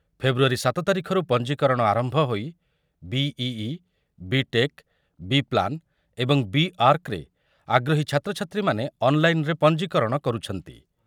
ଫେବୃୟାରୀ ସାତ ତାରିଖରୁ ପଞ୍ଜିକରଣ ଆରମ୍ଭ ହୋଇ ବିଇଇ, ବିଟେକ୍, ବିପ୍ଲାନ୍ ଏବଂ ବି ଆର୍କରେ ଆଗ୍ରହୀ ଛାତ୍ରଛାତ୍ରୀମାନେ ଅନ୍‌ଲାଇନ୍‌‌ରେ ପଞ୍ଜିକରଣ କରୁଛନ୍ତି ।